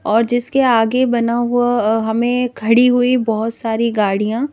और जिसके आगे बना हुआ हमें खड़ी हुई बहुत सारी गाड़ियां--